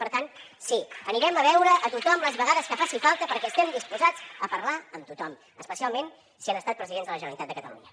per tant sí anirem a veure a tothom les vegades que faci falta perquè estem disposats a parlar amb tothom especialment si han estat presidents de la generalitat de catalunya